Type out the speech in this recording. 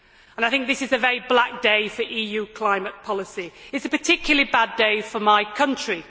I think this is a very black day for EU climate policy. It is a particularly bad day for my country.